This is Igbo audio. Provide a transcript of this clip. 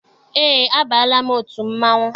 Eé, abaala m otu mmanwụ.